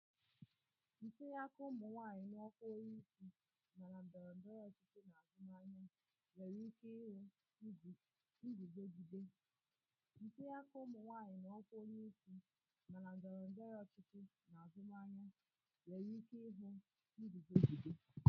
Ntinye aka ụmụ nwanyị na ọkwa onye isi, ma na ndọrọ ndọrọ ọchịchị na azụmahịa, nwere ike ihu nguzogide